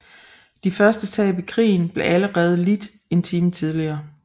De første tab i krigen blev allerede lidt en time tidligere